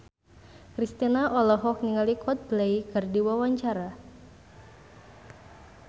Kristina olohok ningali Coldplay keur diwawancara